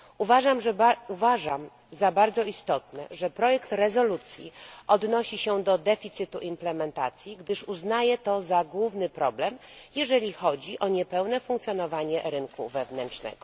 Uważam za bardzo istotne, że projekt rezolucji odnosi się do deficytu implementacji, gdyż uznaję to za główny problem, jeżeli chodzi o niepełne funkcjonowanie rynku wewnętrznego.